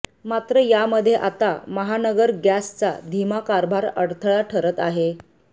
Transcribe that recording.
मात्र यामध्ये आता महानगर गँसचा धीमा कारभार अडथळा ठरत आहे